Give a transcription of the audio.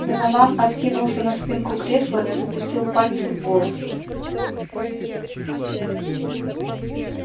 донован откинулся на спинку кресла и запустил пальцы в волосы